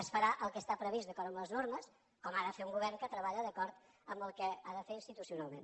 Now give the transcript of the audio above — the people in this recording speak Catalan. es farà el que està previst d’acord amb les normes com ha de fer un govern que treballa d’acord amb el que ha de fer institucionalment